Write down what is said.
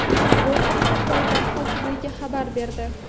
Bu haqda poytaxt hokimigi xabar berdi.